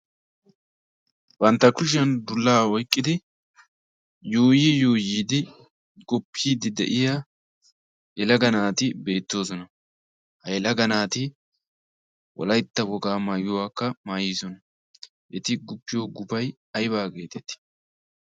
bantta kushiyan dullaa oyqqidi yuuyi yuuyiidi goppiiddi de'iya helaga naati beettoosona. ha elaga naati wolaytta wogaa maayuwaakka maayiisona. eti guppiyo gufay aibaa geetetii?